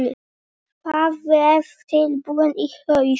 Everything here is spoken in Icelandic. Það verður tilbúið í haust.